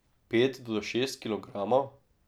Pet do šest kilogramov?